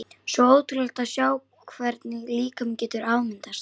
Svo ótrúlegt að sjá hvernig líkaminn getur afmyndast.